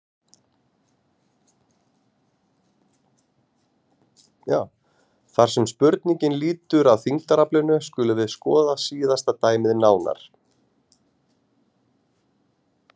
Þar sem spurningin lýtur að þyngdaraflinu skulum við skoða síðasta dæmið nánar.